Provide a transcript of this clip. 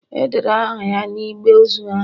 edere aha ya na igbe ozu ahu